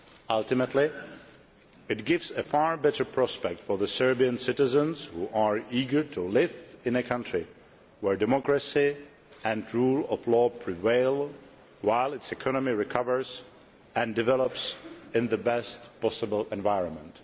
Ultimately, this gives a far better prospect to Serbian citizens who are eager to live in a country where democracy and the rule of law prevail while its economy recovers and develops in the best possible environment.